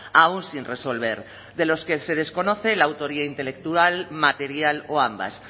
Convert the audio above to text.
aún sin resolver de los que se desconoce la autoría intelectual material o ambas